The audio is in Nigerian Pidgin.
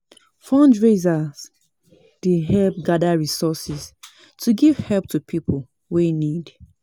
Fundraisers dey help gather resources to giv help to pipo wey need.